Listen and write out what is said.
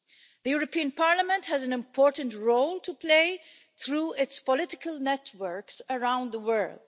The European Parliament has an important role to play through its political networks around the world.